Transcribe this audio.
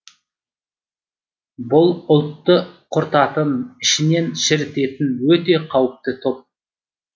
бұл ұлтты құртатын ішінен шірітетін өте қауіпті топ